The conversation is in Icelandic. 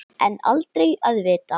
En aldrei að vita.